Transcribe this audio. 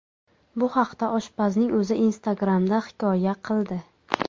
Bu haqda oshpazning o‘zi Instagram’da hikoya qildi .